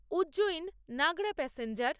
Ujjain Nagda passenger